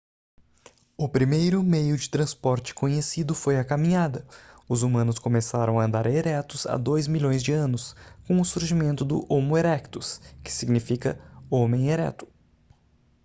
o primeiro meio de transporte conhecido foi a caminhada. os humanos começaram a andar eretos há dois milhões de anos com o surgimento do homo erectus que significa homem ereto"